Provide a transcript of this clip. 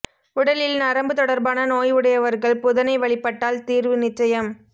உடலில் நரம்பு தொடர்பான நோய் உடையவர்கள் புதனை வழிபட்டால் தீர்வு நிச்சசயம்